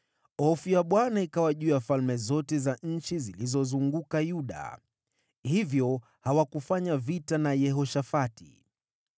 Hofu ya Bwana ikawa juu ya falme zote za nchi zilizozunguka Yuda, hivyo hawakufanya vita na Yehoshafati.